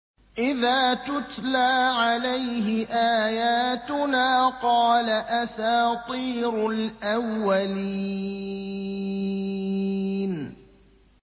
إِذَا تُتْلَىٰ عَلَيْهِ آيَاتُنَا قَالَ أَسَاطِيرُ الْأَوَّلِينَ